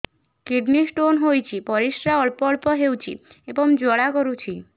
kidney stone ହୋଇଛି ପରିସ୍ରା ଅଳ୍ପ ଅଳ୍ପ ହେଉଛି ଏବଂ ଜ୍ୱାଳା କରୁଛି